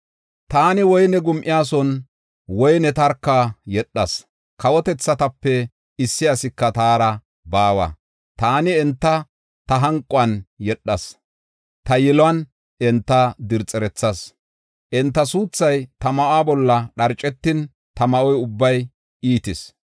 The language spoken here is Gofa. “Taani woyne gum7iyason woyniya tarka yedhas; kawotethatape issi asika taara baawa. Taani enta ta hanquwan yedhas; ta yiluwan enta dirxerethas. Enta suuthay ta ma7uwa bolla dharcetin, ta ma7o ubbay iitis.